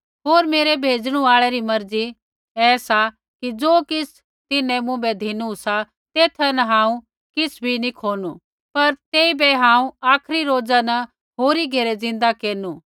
होर मेरै भेजणु आल़ै री मर्जी ऐ सा कि ज़ो किछ़ तिन्हैं मुँभै धिनु सा तेथा न हांऊँ किछ़ भी नैंई खोनु पर तेइबै हांऊँ आखरी रोजा न होरी घेरै ज़िन्दा केरनु